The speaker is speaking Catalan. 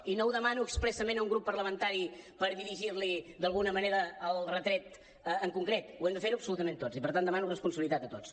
i no ho demano expressament a un grup parlamentari per dirigir li d’alguna manera el retret en concret ho hem de fer absolutament tots i per tant demano responsabilitat a tots